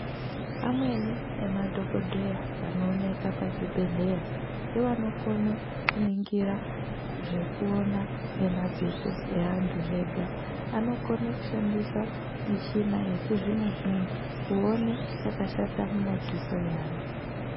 Amweni emadhokodheya anooneka pazvibhedhleya nevanokone kuningira zvekuona ngemadziso eantu zvega. Anokone kushandisa michina yechizvino zvino kuone chakashata mumadziso eantu.